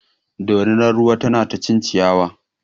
Dorinar ruwar na ta cin ciyawa.